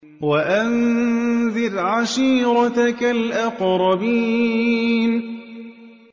وَأَنذِرْ عَشِيرَتَكَ الْأَقْرَبِينَ